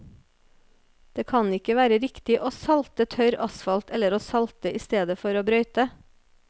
Det kan ikke være riktig å salte tørr asfalt eller å salte i stedet for å brøyte.